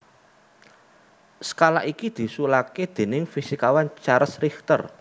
Skala iki diusulaké déning fisikawan Charles Richter